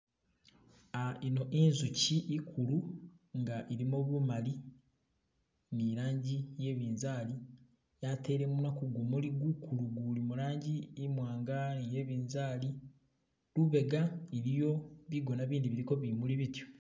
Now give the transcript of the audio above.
Ino inzuchi ikulu inga ilimo bumali ni ilangi ye binzali yatele munwa ku gumuli gukulu guli mulangi imwanga ni yebizali lubega iliyo bigona bindi biliko bimuli bityo